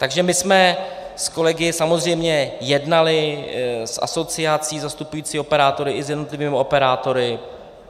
Takže my jsme s kolegy samozřejmě jednali s asociací zastupující operátory i s jednotlivými operátory.